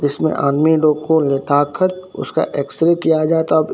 इसमें आदमी लोग को लेटा कर उसका एक्सरे किया जाता--